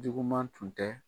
Juguman tun tɛ.